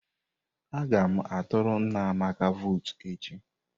Aga m aturu nna Amaka votu echi.